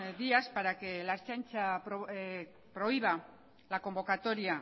días para que la ertzaintza prohíba la convocatoria